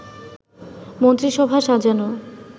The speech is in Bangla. মন্ত্রিসভা সাজানো